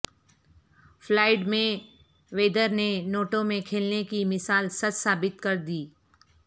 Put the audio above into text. Floyd Mayweather نے نوٹوں میں کھیلنے کی مثال سچ ثابت کر دی